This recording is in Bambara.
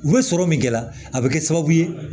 U bɛ sɔrɔ min kɛla a bɛ kɛ sababu ye